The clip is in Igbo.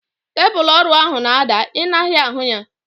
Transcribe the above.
Tebụlu ọrụ ahu na-ada. I naghị ahu ya?